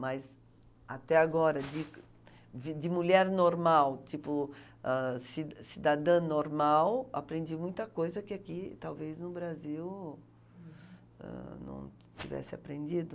Mas até agora, de de mulher normal, tipo ah ci cidadã normal, aprendi muita coisa que aqui, talvez no Brasil, não tivesse aprendido.